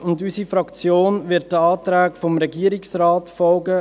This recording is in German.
Unsere Fraktion wird den Anträgen des Regierungsrates folgen.